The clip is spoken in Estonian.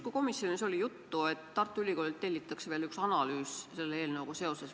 Komisjonis justkui oli juttu, et Tartu Ülikoolilt tellitakse veel üks analüüs selle eelnõuga seoses.